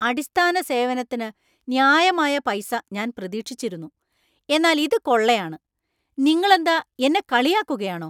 അടിസ്ഥാന സേവനത്തിന് ന്യായമായ പൈസ ഞാൻ പ്രതീക്ഷിച്ചിരുന്നു, എന്നാൽ ഇത് കൊള്ളയാണ്! നിങ്ങളെന്താ എന്നെ കളിയാക്കുകയാണോ?